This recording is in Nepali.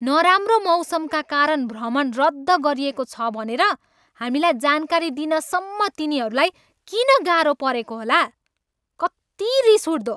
नराम्रो मौसमका कारण भ्रमण रद्द गरिएको छ भनेर हामीलाई जानकारी दिनसम्म तिनीहरूलाई किन गाह्रो परेको होला। कत्ति रिस उठ्दो।